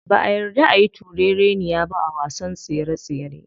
Ba'a yarda ayi turereniya ba a wasan tsere tsere.